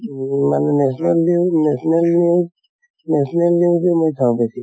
উম মানে national news national news, national news এনে চাওঁ বেছিকে